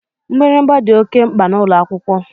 Mgbịrịgba dị oké mkpa n'ụlọakwụkwọ